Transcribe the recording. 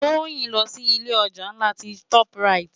Toyin n lò si ilé òjá lá ti tòp ráyit